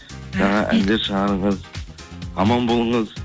жаңа әндер шығарыңыз аман болыңыз